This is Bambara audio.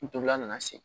N tolila na segin